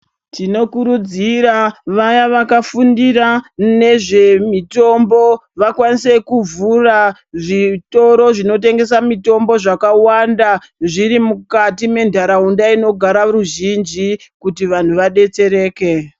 Tinokurudzira vaya vakafundira nezvemitombo, vakwanise kuvhura zvitoro zvinotengese mitombo zvakawanda, zviri mukati mentaraunda inogara ruzhinji ,kuti vanhu vadetsereke.